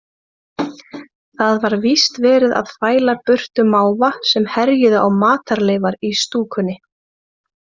Það var víst verið að fæla burtu máva sem herjuðu á matarleifar í stúkunni.